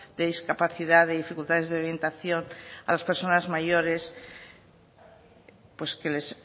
de discapacidad de dificultades de orientación a las personas mayores pues que les